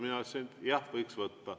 Mina ütlesin, et jah, võiks võtta.